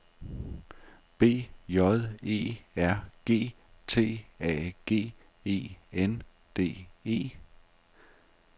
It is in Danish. B J E R G T A G E N D E